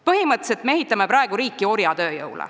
Põhimõtteliselt me ehitame praegu riiki orjatööjõul.